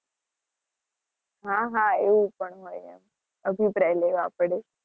હા હા એવું પણ હોય હવે અભિપ્રાય લેવા પડે.